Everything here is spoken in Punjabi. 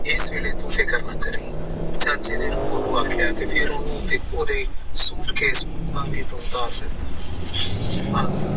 ਇਸ ਵੇਲੇ ਤੂੰ ਫਿਕਰ ਨਾ ਕਰੀ ਚਾਚੇ ਨੇ ਰੂਪੋ ਨੂੰ ਆਖਿਆ ਫਿਰ ਉਹਦੇ suitcase ਨੂੰ ਉਤਾਰਿਆ